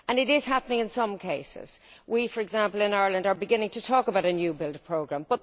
This is happening in some cases for example, in Ireland we are beginning to talk about a new build programme.